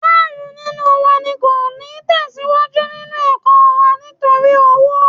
Márùn-ún nínú wa ni kò ní tẹ̀síwájú nínú ẹ̀kọ́ wa nítorí owó